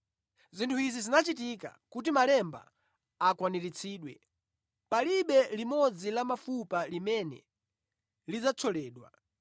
Zinthu izi zinachitika kuti malemba akwaniritsidwe: “Palibe limodzi la mafupa limene lidzathyoledwa,”